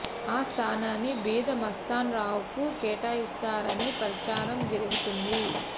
ఆ స్థానాన్ని బీద మస్తాన్ రావు కు కేటాయిస్తారని ప్రచారం జరుగుతోంది